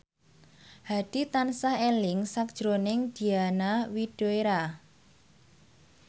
Hadi tansah eling sakjroning Diana Widoera